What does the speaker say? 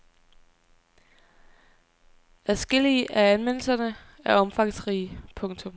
Adskillige af anmeldelserne er omfangsrige. punktum